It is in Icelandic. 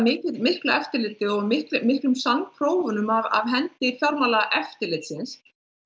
miklu eftirliti og miklum af hendi fjármálaeftirlitsins